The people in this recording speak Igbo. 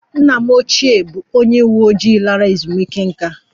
Nna m ochie bụ onye uwe ojii lara ezumike nká